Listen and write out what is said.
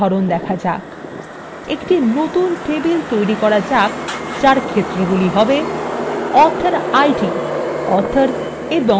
একটি নতুন table তৈরি করা যাক যার ক্ষেত্রগুলি হবে authorid author এবং country